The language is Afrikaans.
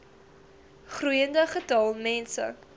groeiende getal mense